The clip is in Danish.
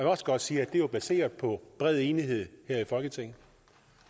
også godt sige at det var baseret på bred enighed her i folketinget